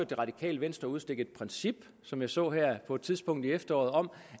det radikale venstre udstikke et princip som jeg så på et tidspunkt her i efteråret om